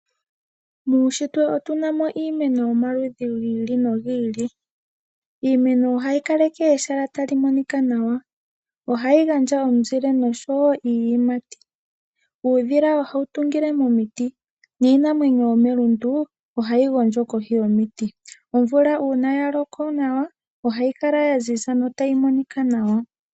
Muushitwe otuna mo iimeno yomaludhi giili no giili. Iimeno ohayi kaleke ehala tali monika nawa, ohayi gandja omuzile osho wo iiyimati. Uudhila ohawu tungile momiti niinamwenyo yomelundu ohayi gondjo kohi yomuti. Omvula uuna ya loko nawa, ohayi kala ya ziza, tayi monika nawa.